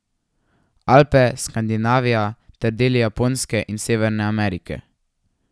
Alpe, Skandinavija ter deli Japonske in Severne Amerike.